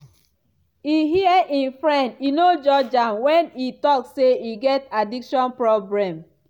e hear im friend e no judge am wen e talk say e get addiction problem.